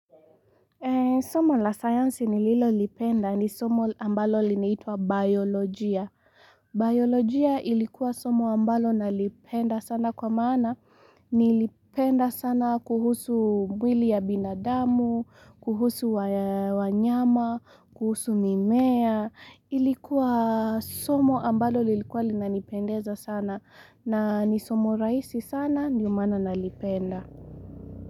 Somo la sayansi nililolipenda ni somo ambalo linaitwa biolojia. Biolojia ilikuwa somo ambalo nalipenda sana kwa maana. Nilipenda sana kuhusu mwili ya binadamu, kuhusu wanyama, kuhusu mimea. Ilikuwa somo ambalo lilikuwa lina nipendeza sana. Na ni somo rahisi sana ndio maana nalipenda.